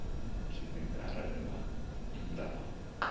tshipembe arali vha nnḓa ha